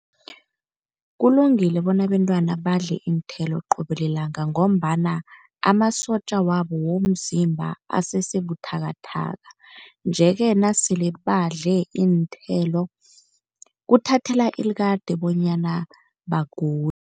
Kulungile bona abentwana badle iinthelo qobe lilanga, ngombana amasotja wabo womzimba asese buthakathaka, nje-ke nasele badle iinthelo kuthathela ilikade bonyana bagule.